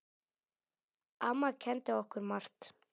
Amma kenndi okkur margt.